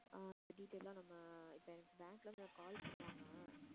ஆஹ் இந்த detail லாம் நம்ம இப்ப எனக்கு bank ல இருந்து எனக்கு call பண்ணுவாங்க